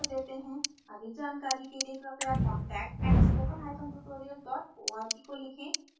अधिक जानकारी के लिए क्रपया contact @spokentutorial org को लिखें